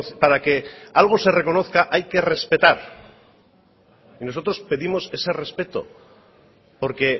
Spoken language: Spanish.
para que algo se reconozca hay que respetar y nosotros pedimos ese respeto porque